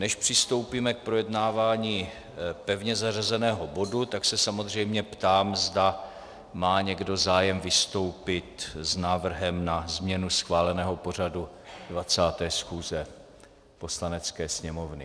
Než přistoupíme k projednávání pevně zařazeného bodu, tak se samozřejmě ptám, zda má někdo zájem vystoupit s návrhem na změnu schváleného pořadu 20. schůze Poslanecké sněmovny.